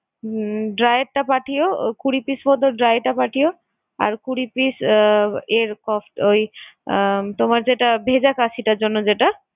উম dry এর টা পাঠিও কুড়ি piece মতো dry টা পাঠিও, আর কুড়ি piece আহ এর ওই আহ তোমার যেটা ভেজা কাশিটার জন্য যেটা।